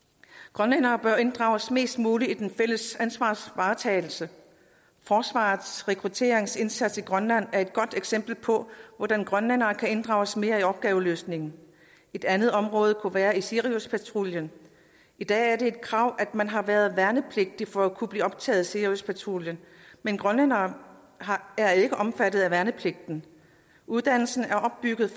grønlændere bør inddrages mest muligt i den fælles ansvarsvaretagelse forsvarets rekrutteringsindsats i grønland er et godt eksempel på hvordan grønlænderne kan inddrages mere i opgaveløsningen et andet område kunne være siriuspatruljen i dag er det et krav at man har været værnepligtig for at kunne blive optaget i siriuspatruljen men grønlændere er ikke omfattet af værnepligten uddannelsen er opbygget